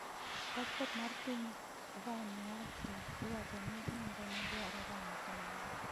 Paspot mar piny Vanuatu iwacho ni nengone dwa romo kamano.